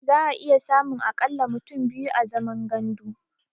Za'a iya samun a ƙalla mutum biyu a zaman gandu.